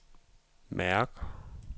mærk